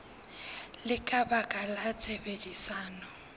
le ka baka la tshebedisano